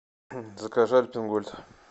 закажи альпен гольд